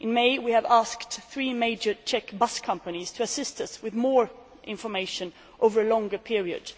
In May, we asked three major Czech bus companies to assist us with more information over a longer period.